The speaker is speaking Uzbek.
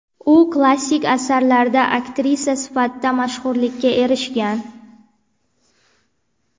U klassik asarlarda aktrisa sifatida mashhurlikka erishgan.